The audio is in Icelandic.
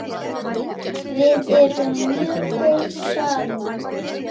Við erum mjög góð saman.